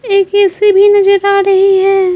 एक ए_सी भी नजर आ रही है।